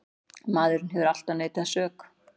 Maðurinn hefur alltaf neitað sök.